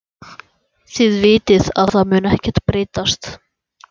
Þið vitið að það mun ekkert breytast.